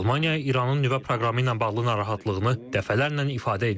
Almaniya İranın nüvə proqramı ilə bağlı narahatlığını dəfələrlə ifadə edib.